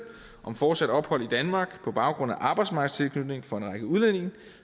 om fortsat ophold i danmark på baggrund af arbejdsmarkedstilknytning for en række udlændinge